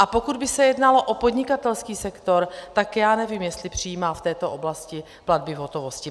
A pokud by se jednalo o podnikatelský sektor, tak já nevím, jestli přijímá v této oblasti platby v hotovosti.